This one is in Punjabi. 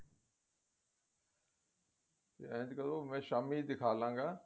ਇੰਜ ਕਰੋ ਮੈਂ ਸ਼ਾਮੀ ਦਿਖਾਲੂਂਗਾ